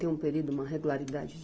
Tem um período, uma regularidade?